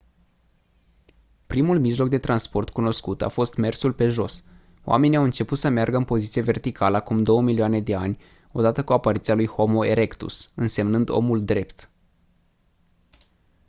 primul mijloc de transport cunoscut a fost mersul pe jos; oamenii au început să meargă în poziție verticală acum 2 milioane de ani odată cu apariția lui homo erectus înseamnând omul drept